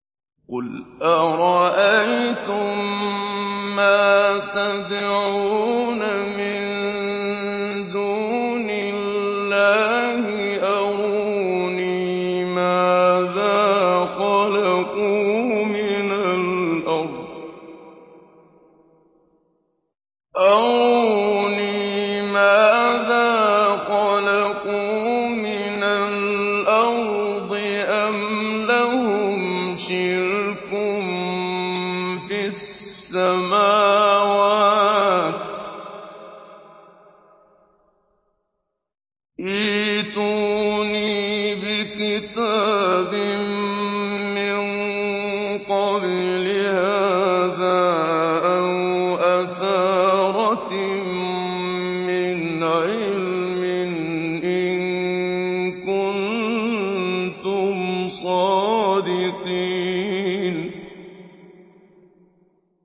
قُلْ أَرَأَيْتُم مَّا تَدْعُونَ مِن دُونِ اللَّهِ أَرُونِي مَاذَا خَلَقُوا مِنَ الْأَرْضِ أَمْ لَهُمْ شِرْكٌ فِي السَّمَاوَاتِ ۖ ائْتُونِي بِكِتَابٍ مِّن قَبْلِ هَٰذَا أَوْ أَثَارَةٍ مِّنْ عِلْمٍ إِن كُنتُمْ صَادِقِينَ